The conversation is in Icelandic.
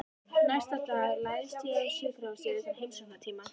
Næsta dag læðist ég um sjúkrahúsið utan heimsóknartíma.